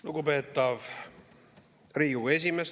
Lugupeetav Riigikogu esimees!